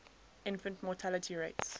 infant mortality rates